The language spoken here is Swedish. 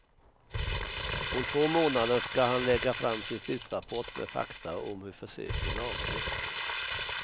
Om två månader skall han lägga fram sin slutrapport med fakta om hur försöken avlöpt.